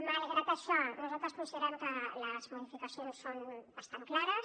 malgrat això nosaltres considerem que les modificacions són bastant clares